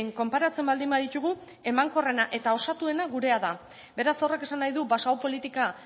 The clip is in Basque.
konparatzen baldin baditugu emankorrena eta osatuena gure da beraz horrek esan nahi du baso politika